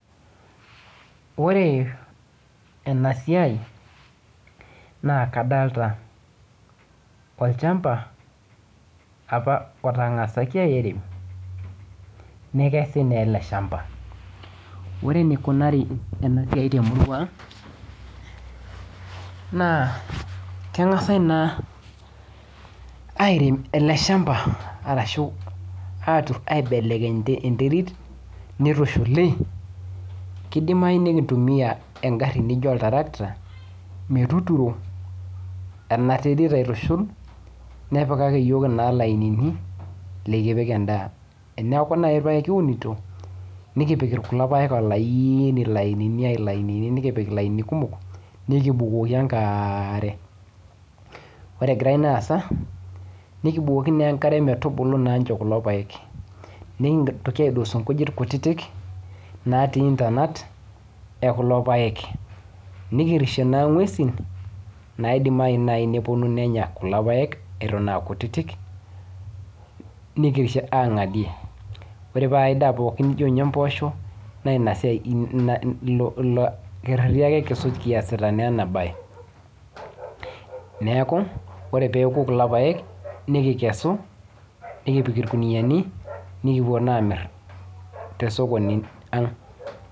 Ore ena siai naa kadolita olchamba apa otang'asaki airem nekesi naa ele shamba. Ore enikunaari ena siai te murwa ang' naa keng'asi naa airem ele shamba arashu aturr aibelekeny enterit nitushuli, kidimayu nikintumia engarri nijo oltrakta metuturo ena terit aitushul nepikaki iyiok naa ilainini lekipik endaa. Eneeku naai kiunito nikipik kulo paek olaaini, lainini, lainini, nikipik ilainini kumok nekibukoki enkaare. Ore egira ina aasa nekibukoki naa enkare metubulu naa nchoo kulo paek. Nekintoki aidosu inkujit kutiti naatii intanat e kulo paek. Nikirishie naa ng'wesi naidimayu naai nepwonu nenya kulo paek eton aa kutiti nikirishie aang'adie aidaa pookin nijo mboosho naa ina siai, ilo kerreti naa kisuj kiasita ake ina bae. Neeku, ore peoku kulo paek nikikesu, nikipik irkunuyiani, nikipwo naa aamirr te sokoni ang'